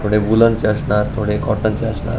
थोडे उलंचे असणार थोडे काॅटन चे असणार.